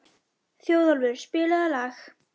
Þjóðólfur, spilaðu lag.